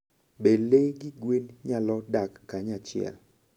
Be le gi gwen nyalo dak kanyachiel?